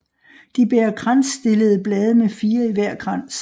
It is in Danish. De bærer kransstillede blade med 4 i hver krans